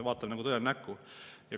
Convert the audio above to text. Vaatame tõele näkku.